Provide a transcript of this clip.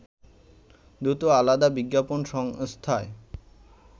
দুটো আলাদা বিজ্ঞাপন সংস্থায়